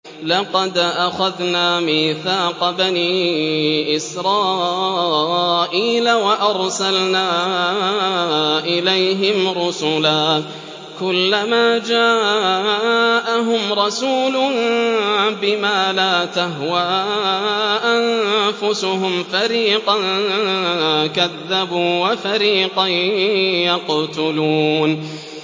لَقَدْ أَخَذْنَا مِيثَاقَ بَنِي إِسْرَائِيلَ وَأَرْسَلْنَا إِلَيْهِمْ رُسُلًا ۖ كُلَّمَا جَاءَهُمْ رَسُولٌ بِمَا لَا تَهْوَىٰ أَنفُسُهُمْ فَرِيقًا كَذَّبُوا وَفَرِيقًا يَقْتُلُونَ